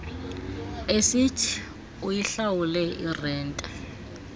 esithi uyihlawule irente